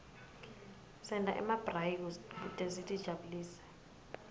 senta nemabrayi kute sitijabulise